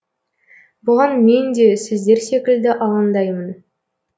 бұған мен де сіздер секілді алаңдаймын